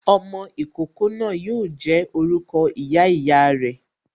Ọmọ ìkókó náà yo jẹ́ orúkọ ìyá ìyá re